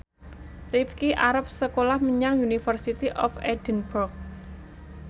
Rifqi arep sekolah menyang University of Edinburgh